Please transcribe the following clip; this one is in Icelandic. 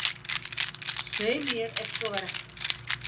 Svei mér, ef svo var ekki.